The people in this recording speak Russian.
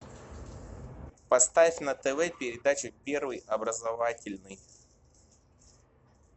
поставь на тв передачу первый образовательный